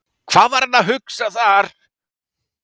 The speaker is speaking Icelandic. Hvað var hann að hugsa þar?